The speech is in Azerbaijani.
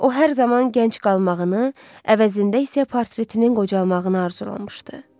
O hər zaman gənc qalmağını, əvəzində isə portretinin qocalmağını arzulamışdı.